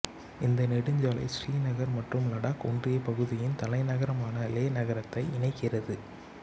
இந்த நெடுஞ்சாலை ஸ்ரீநகர் மற்றும் லடாக் ஒன்றியப் பகுதியின் தலைநகரமான லே நகரத்தை இணைக்கிறது